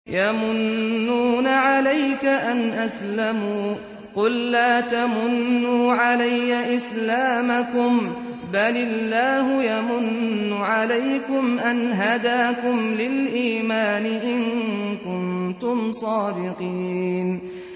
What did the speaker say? يَمُنُّونَ عَلَيْكَ أَنْ أَسْلَمُوا ۖ قُل لَّا تَمُنُّوا عَلَيَّ إِسْلَامَكُم ۖ بَلِ اللَّهُ يَمُنُّ عَلَيْكُمْ أَنْ هَدَاكُمْ لِلْإِيمَانِ إِن كُنتُمْ صَادِقِينَ